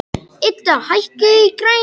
Idda, hækkaðu í græjunum.